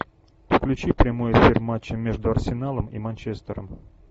включи прямой эфир матча между арсеналом и манчестером